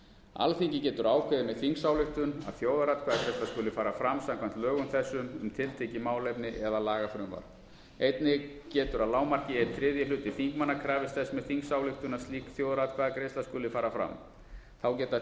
alþingi getur ákveðið með þingsályktun að þjóðaratkvæðagreiðsla skuli fara fram samkvæmt lögum þessum um tiltekið málefni eða lagafrumvarp einnig getur að lágmarki eina þrjá hluti þingmanna krafist þess með þingsályktun að slík þjóðaratkvæðagreiðsla skuli fara fram þá geta